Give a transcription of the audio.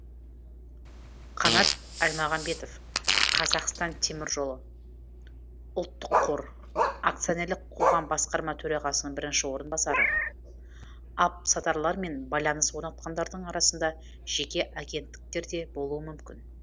қанат әлмағамбетов қазақстан темір жолы ұлттық қор акционерлік қоғам басқарма төрағасының бірінші орынбасары алыпсатарлар мен байланыс орнатқандардың арасында жеке агенттіктер де болуы мүмкін